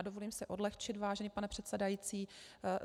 A dovolím si odlehčit, vážený pane předsedající.